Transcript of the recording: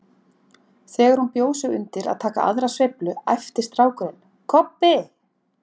Þegar hún bjó sig undir að taka aðra sveiflu æpti strákurinn: Kobbi